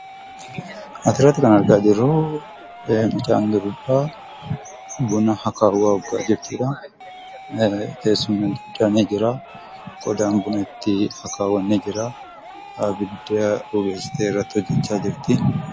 As irratti kana arginuu mucaan durbaa buna aka'aa kan jirtuu dha. Teessoonis kan jiruu fi ibidda bobeessitee kan jirtuu dha.